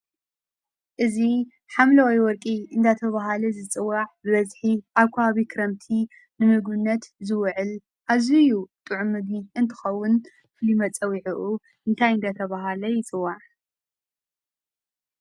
እዚ ሓምለዋይ ወርቂ እናተበሃለ ዝፅዋዕ ብበዝሒ ኣብ ከባቢ ክረምቲ ንምግብነት ዝውዕል ኣዝዩ ጥዑም ምግቢ እንትኸውን ፍሉይ መፀውዒዑ እንታይ እንዳተባህለ ይፅዋዕ?